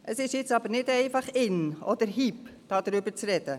Es ist aber nicht einfach «in» oder «hip», darüber zu sprechen.